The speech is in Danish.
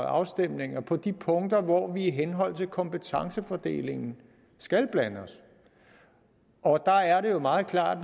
afstemninger på de punkter hvor vi i henhold til kompetencefordelingen skal blande os og der er det jo meget klart